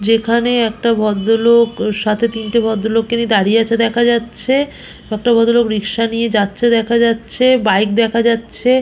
যেখানে একটা ভদ্রলোক সাথে তিনটে ভদ্রলোককে নিয়ে দাঁড়িয়ে আছে দেখা যাচ্ছে একটা ভদ্রলোক রিকশা নিয়ে যাচ্ছে দেখা যাচ্ছে বাইক দেখা যাচ্ছে।